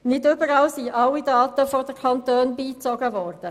Nicht überall sind alle Daten der Kantone beigezogen worden.